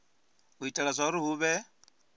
u itela zwauri hu vhe